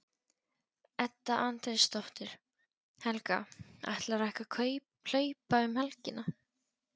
Edda Andrésdóttir: Helga, ætlarðu ekki að hlaupa um helgina?